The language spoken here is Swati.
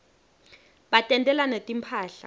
batentela netimphahla